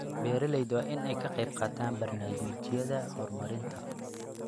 Beeralayda waa in ay ka qayb qaataan barnaamijyada horumarinta.